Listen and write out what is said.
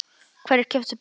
Hverjir keyptu bréfin?